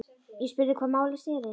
Ég spurði um hvað málið snerist.